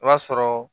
I b'a sɔrɔ